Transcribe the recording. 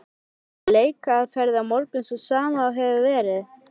Verður leikaðferðin á morgun sú sama og hefur verið?